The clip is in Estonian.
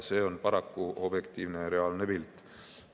See on paraku objektiivne, reaalne pilt.